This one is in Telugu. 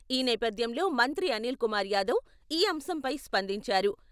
ఈ నేపథ్యంలో మంత్రి అనిల్ కుమార్ యాదవ్ ఈ అంశంపై స్పందించారు.